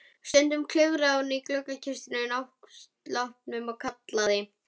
Stundum klifraði hún upp í gluggakistuna á náttsloppnum og kallaði